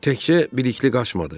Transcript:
Təkcə Bilikli qaçmadı.